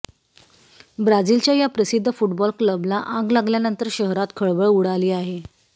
ब्राझीलच्या या प्रसिद्ध फुटबॉल क्लबला आग लागल्यानंतर शहरात खळबळ उडाली आहे